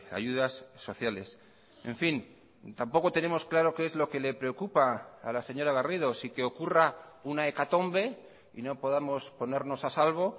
ayudas sociales en fin tampoco tenemos claro qué es lo que le preocupa a la señora garrido si que ocurra una hecatombe y no podamos ponernos a salvo